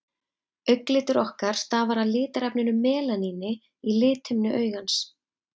augnlitur okkar stafar af litarefninu melaníni í lithimnu augans